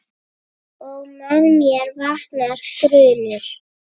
Og með mér vaknar grunur.